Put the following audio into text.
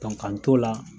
k'an t'o la